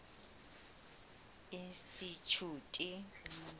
institjhute